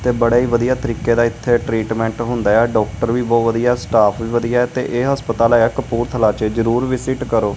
ਤੇ ਬੜਾ ਹੀ ਵਧੀਆ ਤਰੀਕੇ ਦਾ ਇਥੇ ਟਰੀਟਮੈਂਟ ਹੁੰਦਾ ਏ ਆ ਡਾਕਟਰ ਵੀ ਬਹੁਤ ਵਧੀਆ ਸਟਾਫ ਵੀ ਵਧੀਆ ਤੇ ਇਹ ਹਸਪਤਾਲ ਏ ਆ ਕਪੂਰਥਲਾ 'ਚ ਜਰੂਰ ਵਿਜਿਟ ਕਰੋ।